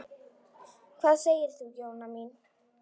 Hvað segir þú, Jóna mín?